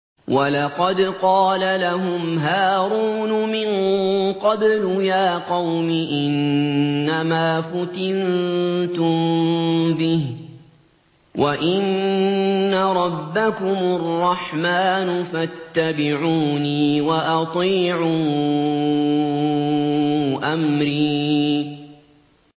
وَلَقَدْ قَالَ لَهُمْ هَارُونُ مِن قَبْلُ يَا قَوْمِ إِنَّمَا فُتِنتُم بِهِ ۖ وَإِنَّ رَبَّكُمُ الرَّحْمَٰنُ فَاتَّبِعُونِي وَأَطِيعُوا أَمْرِي